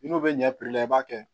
N'u bɛ ɲɛ la i b'a kɛ